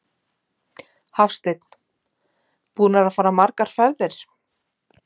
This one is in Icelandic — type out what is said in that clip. Hafsteinn: Búnir að fara margar ferðir?